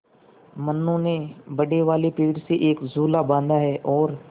मनु ने बड़े वाले पेड़ से एक झूला बाँधा है और